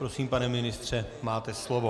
Prosím, pane ministře, máte slovo.